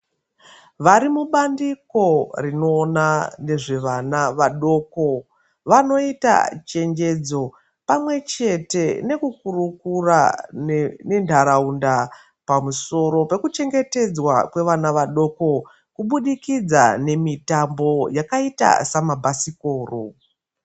Vari mubandiko rinoona nezvevana vadoko vanoita chenjedzo pamwechete nekukurukura nenharaunda pamusoro pekuchengetedzwa kwevana vadoko kubudikidza nemitambo yakaita semabhasikoro.